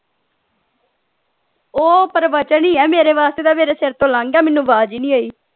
ਉਹ ਪ੍ਰਵਚਨ ਹੀ ਹੈ ਮੇਰੇ ਵਾਸਤੇ ਤਾਂ ਮੇਰੇ ਸਿਰ ਤੋਂ ਲੰਘ ਗਿਆ ਮੈਨੂੰ ਆਵਾਜ਼ ਹੀ ਨਹੀਂ ਆਈ।